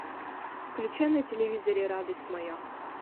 включи на телевизоре радость моя